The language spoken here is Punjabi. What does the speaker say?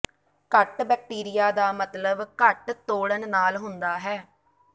ਘੱਟ ਬੈਕਟੀਰੀਆ ਦਾ ਮਤਲਬ ਘੱਟ ਤੋੜਨ ਨਾਲ ਹੁੰਦਾ ਹੈ